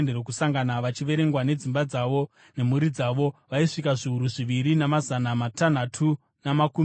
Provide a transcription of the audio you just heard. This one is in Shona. vachiverengwa nedzimba dzavo nemhuri dzavo, vaisvika zviuru zviviri, namazana matanhatu namakumi matatu.